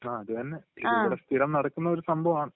ങാ...അതുതന്നെ. ഇതിവിടെ സ്ഥിരം നടക്കുന്ന ഒരു സംഭവമാണ്.